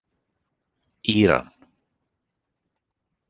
Íran